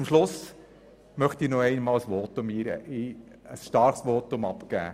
Zum Schluss möchte ich noch ein Plädoyer für starke Schulen abgeben: